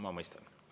Ma mõistan.